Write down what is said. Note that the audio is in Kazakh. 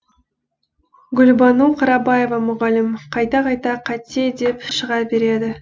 гүлбану қарабаева мұғалім қайта қайта қате деп шыға береді